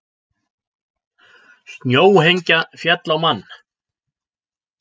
Snjóhengja féll á mann